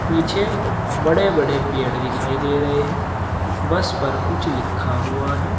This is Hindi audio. पीछे बड़े बड़े पेड़ दिखाई दे रहे हैं बस पर कुछ लिखा हुआ है।